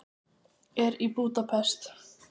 Er í Búdapest.